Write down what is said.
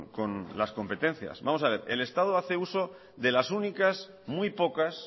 con las competencias vamos a ver el estado hace uso de las únicas muy pocas